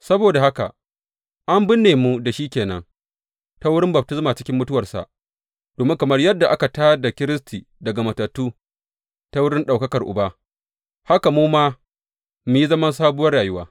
Saboda haka, an binne mu da shi ke nan, ta wurin baftisma cikin mutuwarsa, domin kamar yadda aka tā da Kiristi daga matattu ta wurin ɗaukakar Uba, haka mu ma mu yi zaman sabuwar rayuwa.